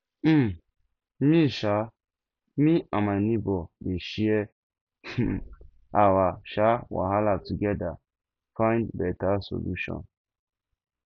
um me um me and my nebor dey share um our um wahala togeda find beta solution